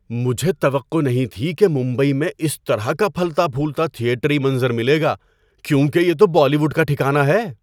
‏مجھے توقع نہیں تھی کہ ممبئی میں اس طرح کا پھلتا پھولتا تھیٹری منظر ملے گا کیونکہ یہ تو بالی ووڈ کا ٹھکانہ ہے۔